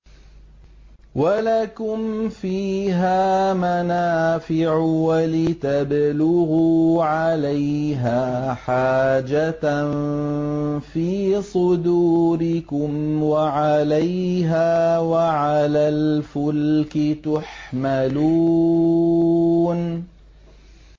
وَلَكُمْ فِيهَا مَنَافِعُ وَلِتَبْلُغُوا عَلَيْهَا حَاجَةً فِي صُدُورِكُمْ وَعَلَيْهَا وَعَلَى الْفُلْكِ تُحْمَلُونَ